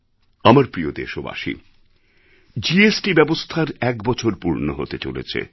আমার প্রিয় দেশবাসী জিএসটি ব্যবস্থার ১ বছর পূর্ণ হতে চলেছে